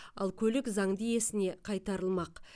ал көлік заңды иесіне қайтарылмақ